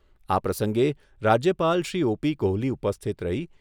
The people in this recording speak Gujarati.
પ્રસંગે રાજ્યપાલ શ્રી ઓ.પી.કોહલી ઉપસ્થિત રહી